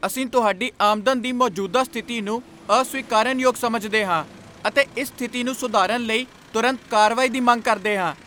ਅਸੀਂ ਤੁਹਾਡੀ ਆਮਦਨ ਦੀ ਮੌਜੂਦਾ ਸਥਿਤੀ ਨੂੰ ਅਸਵੀਕਾਰਨਯੋਗ ਸਮਝਦੇ ਹਾਂ ਅਤੇ ਇਸ ਸਥਿਤੀ ਨੂੰ ਸੁਧਾਰਨ ਲਈ ਤੁਰੰਤ ਕਾਰਵਾਈ ਦੀ ਮੰਗ ਕਰਦੇ ਹਾਂ।